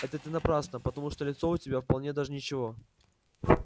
это ты напрасно потому что лицо у тебя вполне даже ничего